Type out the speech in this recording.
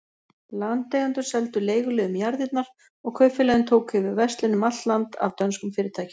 Landeigendur seldu leiguliðum jarðirnar, og kaupfélögin tóku yfir verslun um allt land af dönskum fyrirtækjum.